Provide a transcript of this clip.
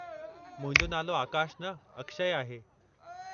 मुंहिंजो नालो आकाश न, अक्षय आहे।